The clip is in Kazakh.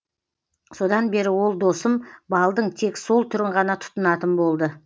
содан бері ол досым балдың тек сол түрін ғана тұтынатын болды